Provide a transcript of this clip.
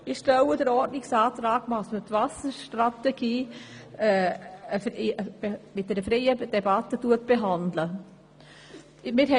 Ich stelle den Ordnungsantrag, dass die Wasserstrategie in freier Debatte behandelt wird.